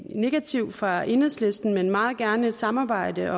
negativt fra enhedslisten men meget gerne et samarbejde